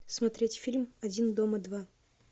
смотреть фильм один дома два